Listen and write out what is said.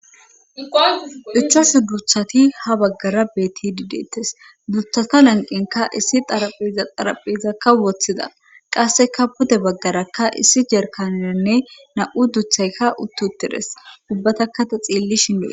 Ichashu duthati ha baggara beeti dideettes duthata lanqinka issi arapheza araphezakka woththida qasseka pude baggarakka issi jerkaneanne na7u duthaykka uttiuttides ubbatakka ta xiilli shindee